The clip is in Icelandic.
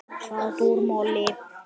Sjá dúr og moll.